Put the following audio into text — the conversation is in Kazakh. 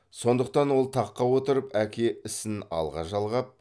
сондықтан да ол таққа отырып әке ісін алға жалғап